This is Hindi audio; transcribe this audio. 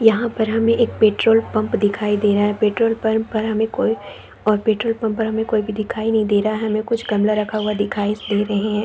यहाँ पर हमें एक पेट्रोल_पंप दिखाई दे रहा है पेट्रोल_पंप पर हमें कोई ओर पेट्रोल_पंप पर हमें कोई भी दिखाई नहीं दे रहा है हमें कुछ गमला रखा हुआ दिखाई दे रहें हैं।